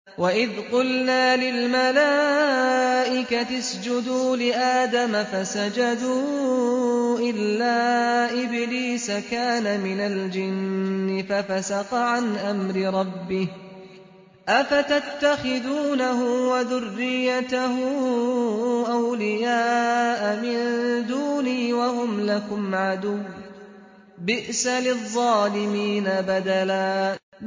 وَإِذْ قُلْنَا لِلْمَلَائِكَةِ اسْجُدُوا لِآدَمَ فَسَجَدُوا إِلَّا إِبْلِيسَ كَانَ مِنَ الْجِنِّ فَفَسَقَ عَنْ أَمْرِ رَبِّهِ ۗ أَفَتَتَّخِذُونَهُ وَذُرِّيَّتَهُ أَوْلِيَاءَ مِن دُونِي وَهُمْ لَكُمْ عَدُوٌّ ۚ بِئْسَ لِلظَّالِمِينَ بَدَلًا